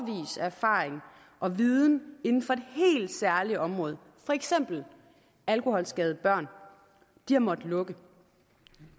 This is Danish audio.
erfaring og viden inden for et helt særligt område for eksempel alkoholskadede børn har måttet lukke